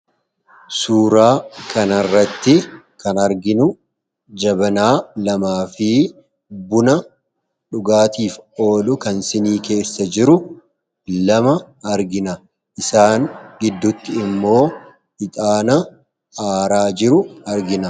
suuraa kana irratti kan arginu jabanaa lamaa fi buna dhugaatiif oolu kan sinii keessa jiru 2 argina. isaan gidduutti immoo ixaana aaraa jiru argina.